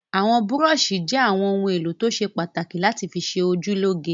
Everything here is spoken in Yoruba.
Àwọn búrọ́ṣì jẹ́ àwọn ohun-èlò tó ṣe pàtàkì láti fi ṣe ojú lóge.